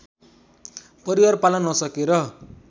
परिवार पाल्न नसकेर